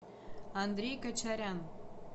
андрей кочарян